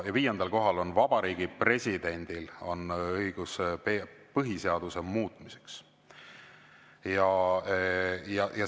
Viiendal kohal on Vabariigi President, kel on õigus põhiseaduse muutmine.